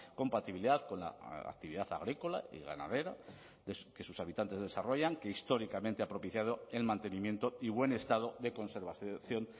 compatibilidad con la actividad agrícola y ganadera que sus habitantes desarrollan que históricamente ha propiciado el mantenimiento y buen estado de conservación